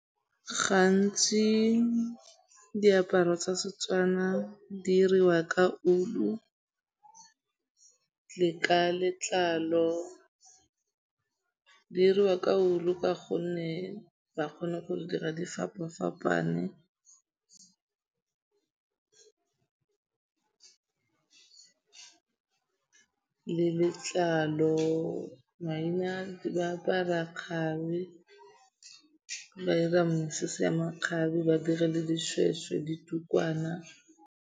Gantsi diaparo tsa Setswana di diriwa ka ulu le ka letlalo. Di iriwa ka wool-u ka gonne ba kgone go dira di fapa-fapane le letlalo. Maina ba apara kgabe ba ira mesese ya makgabe ba dire le dishweshwe, ditukwana.